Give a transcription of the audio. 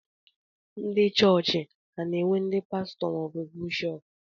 Na chọọchị, a na-enwe n'di pastọ ma ọ bụ bishọp.